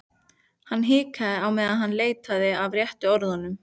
Hann hikaði á meðan hann leitaði að réttu orðunum.